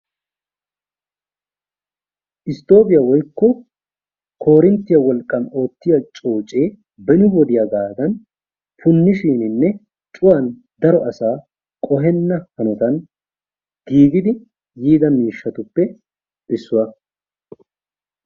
Isttoobee woykko koorinttiyaa wolqqan oottiyaa coocee beni wodiyaagadan puunisuuwaninne cuuwan so asaa qohenna haanotan giigidi yiida miishshatuppe issuwaa.